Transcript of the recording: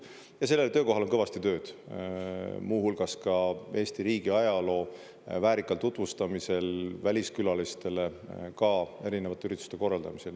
Ja sellel töökohal on kõvasti tööd, muu hulgas ka Eesti riigi ajaloo väärikal tutvustamisel väliskülalistele, ka erinevate ürituste korraldamisel.